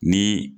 Ni